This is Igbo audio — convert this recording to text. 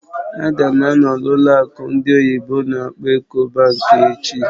Ága m anọ n'ụlọ akụ ndị oyibo n'akpọ "Ecobank" echi